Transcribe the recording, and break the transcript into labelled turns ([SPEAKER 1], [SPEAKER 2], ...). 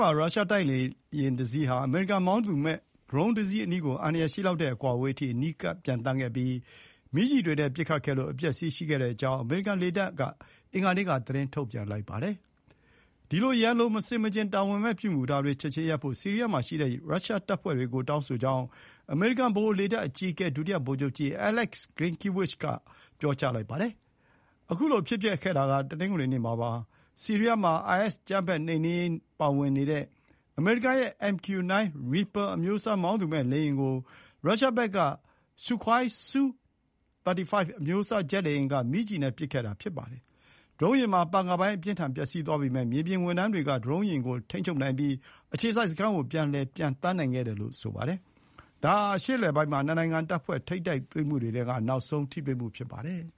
[SPEAKER 1] မှာ ရုရှားတိုက်လေယာဉ်တစီးဟာ အမေရိကန် မောင်းသူမဲ့ ဒရုန်းယာဥ်တစီး အနီးကို အန္တရာယ်ရှိလောက်တဲ့ အကွာအဝေးအထိ အနီးကပ်ပျံသန်းခဲ့ပြီး မီးကျည်တွေနဲ့ ပစ်ခတ်ခဲ့တာကြောင့် ပျက်စီးမှုတွေ ရှိခဲ့ကြောင်း အမေရိကန်လေတပ်က အင်္ဂါနေ့မှာ သတင်းထုန်ပြန်ပါတယ်။ “ဒီလို ရန်လိုတဲ့ မဆင်မခြင်၊ တာဝန်မဲ့ အပြုအမူတွေကို ချက်ချင်းရပ်တန့်ဖို့ ဆီးရီးယားမှာရှိတဲ့ ရုရှားတပ်ဖွဲ့ တွေကို တောင်းဆိုကြောင်း" အမေရိကန် ဗဟို လေတပ် အကြီးအကဲဒုတိယဗိုလ်ချုပ်ကြီး Alex Grynkewich က ပြောပါတယ်။ ဖြစ်စဥ်ဟာတနင်္ဂနွေနေ့က ဖြစ်ပွားခဲ့တာဖြစ်ပြီး ဆီးရီးယားက IS အကြိမ်းဖက် နှိမ်နင်းရေးမှာ ပါဝင်နေတဲ့ အမေရိကန်ရဲ့ MQ-9 Reaper အမျိုးအစား မောင်းသူမဲ့လေယာဉ်ကို ရုရှားဘက်က Sukhoi Su-35 အမျိုးအစား ဂျက်လေယာဉ်သုံးပြီး မီးကျည်နဲ့ ပစ်ခဲ့တာပါ။ ဒရုန်းယာဥ်မှာ ပန်ကာပိုင်း အပြင်းအထန် ပျက်စီး သွားပေမယ့် မြေပြင်ဝန်ထမ်းတွေက ဒရုန်လေယာဉ်ကို ထိန်းချုပ်နိုင်ပြီး အခြေစိုက်စခန်းကို ပြန်လည်ပျံသန်းနိုင်ခဲ့တယ် ဆိုပါတယ်။ ဒါဟာ အရှေ့အလယ်ပိုင်းမှာ နှစ်နိုင်ငံ တပ်ဖွဲ့တွေထိပ်တိုက်တွေ့မှုတွေ ဆက်တိုက် ဖြစ်လာနေတဲ့ အထဲက နောက်ဆုံးဖြစ်ရပ်လည်း ဖြစ်ပါတယ်။